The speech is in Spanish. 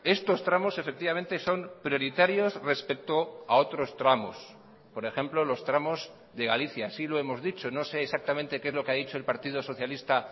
estos tramos efectivamente son prioritarios respecto a otros tramos por ejemplo los tramos de galicia así lo hemos dicho no sé exactamente qué es lo que ha dicho el partido socialista